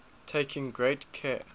taking great care